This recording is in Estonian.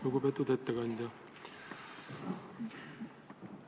Lugupeetud ettekandja!